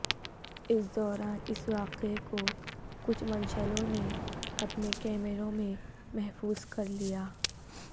اس دوران اس واقعے کو کچھ منچلوں نے اپنے کیمروں میں محفوظ کر لیا